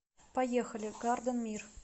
поехали гарденмир